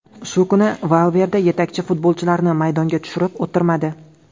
Shu kuni Valverde yetakchi futbolchilarni maydonga tushirib o‘tirmadi.